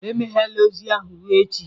Emeghela ozi ahụ ruo echi!